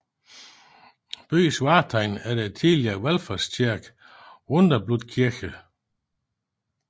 Byens vartegn er den tidligere valfartskirke Wunderblutkirche St